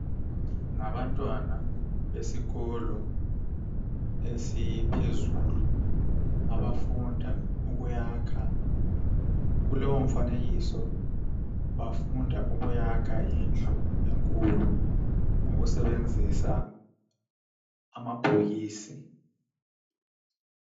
Ngabantwana besikolo esiphezulu abafundela ukuyakha. Kulowo mfanekiso bafunda ukuyakha indlu enkulu ngokusebenzisa amabhokisi.